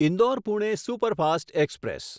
Indore Pune superfast express